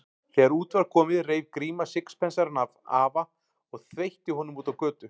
Þegar út var komið reif Gríma sixpensarann af afa og þveitti honum út á götu.